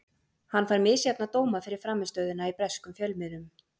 Hann fær misjafna dóma fyrir frammistöðuna í breskum fjölmiðlum.